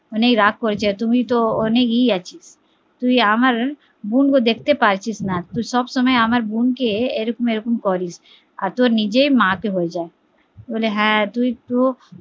অনেক রাগ হয়েছে তুমি তো অনেক ইয়ে আছিস তুই আমার বোন গো দেখতে পারছিস না, তুই সব সময় আমার বোন কে এরকম এরকম করিস আর তোর নিজের মা কে হয়ে যায় বলে হ্যা